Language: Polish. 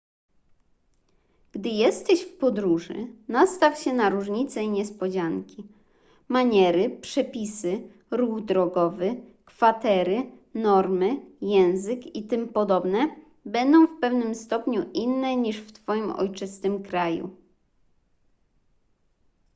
gdy jesteś w podróży nastaw się na różnice i niespodzianki maniery przepisy ruch drogowy kwatery normy język itp będą w pewnym stopniu inne niż w twoim ojczystym kraju